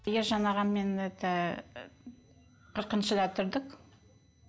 ия жаңағы мен это қырқыншыда тұрдық